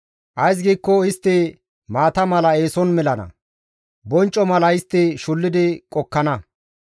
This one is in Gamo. Ays giikko istti maata mala eeson melana; boncco mala istti shullidi qokkana.